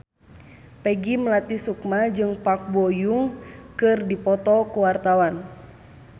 Peggy Melati Sukma jeung Park Bo Yung keur dipoto ku wartawan